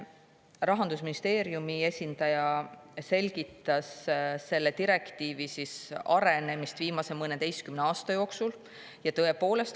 Rahandusministeeriumi esindaja selgitas selle direktiivi arengut viimase mõneteistkümne aasta jooksul.